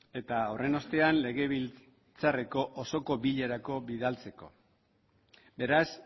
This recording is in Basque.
eta horren ostean legebiltzarreko osoko bilerara bidaltzeko beraz